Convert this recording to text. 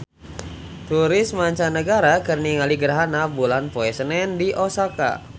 Turis mancanagara keur ningali gerhana bulan poe Senen di Osaka